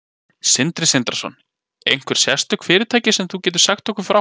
Sindri Sindrason: Einhver sérstök fyrirtæki sem þú getur sagt okkur frá?